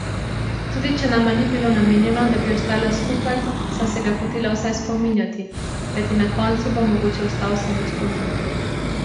Tudi če nama ni bilo namenjeno, da bi ostala skupaj, sem se ga hotela vsaj spominjati, kajti na koncu bo mogoče ostal samo spomin.